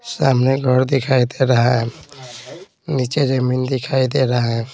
सामने घर दिखाई दे रहा है नीचे जमीन दिखाई दे रहा है।